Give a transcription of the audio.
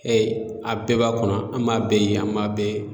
a bɛɛ b'a kɔnɔ an b'a bɛɛ ye an b'a bɛɛ